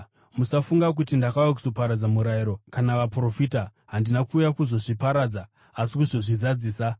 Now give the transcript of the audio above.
“Musafunga kuti ndakauya kuzoparadza Murayiro kana Vaprofita; handina kuuya kuzozviparadza asi kuzozvizadzisa.